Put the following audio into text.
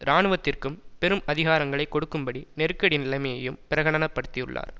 இராணுவத்திற்கும் பெரும் அதிகாரங்களை கொடுக்கும்படி நெருக்கடி நிலைமையையும் பிரகடனப்படுத்தியுள்ளார்